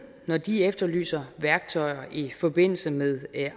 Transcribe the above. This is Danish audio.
når de efterlyser værktøjer i forbindelse med